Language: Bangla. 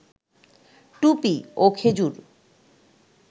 টুপি, ও খেজুর